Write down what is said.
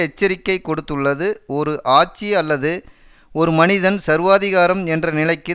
எச்சரிக்கை கொடுத்துள்ளது ஒரு ஆட்சி அல்லது ஒரு மனிதன் சர்வாதிகாரம் என்ற நிலைக்கு